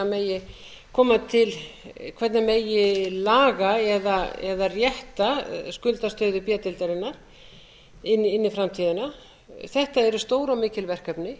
megi laga eða rétta skuldastöðu b deildarinnar inn í framtíðina þetta eru stór og mikil verkefni